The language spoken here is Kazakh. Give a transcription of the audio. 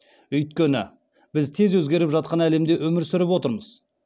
өйткені біз тез өзгеріп жатқан әлемде өмір сүріп отырмыз